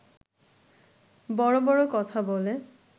বড় বড় কথা বলে